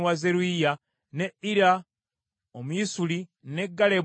ne Ira Omuyisuli, ne Galebu Omuyisuli,